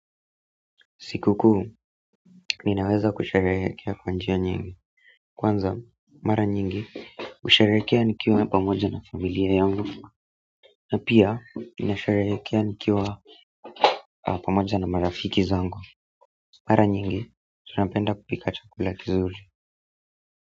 Siku kuu, ninaweza kusherehekea kwa njia nyingi. Kwanza, mara nyingi, husherehekea nikiwa pamoja na familia yangu. Na pia, ninasherehekea nikiwa pamoja na marafiki zangu. Mara nyingi, tunapenda kupika chakula kizuri.